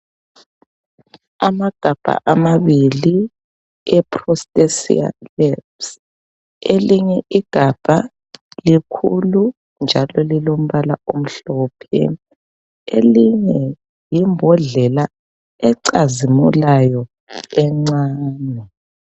Amagama amabili awe Prostasia labs elinye igabha likhulu njalo lilombala omhlophe elinye yimbondlela ecazimulayo encane.